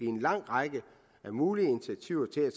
en lang række mulige initiativer til at